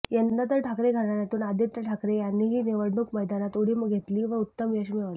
यंदा तर ठाकरे घराण्यातून आदित्य ठाकरे यांनीही निवडणूक मैदानात उडी घेतली व उत्तम यश मिळवले